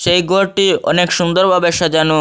সেই গরটি অনেক সুন্দর বাবে সাজানো।